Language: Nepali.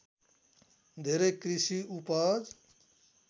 धेरै कृषि उपज